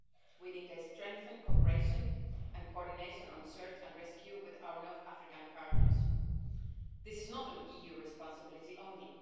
We need to strengthen cooperation and coordination on search and rescue with our North African partners. This is not an EU responsibility alone.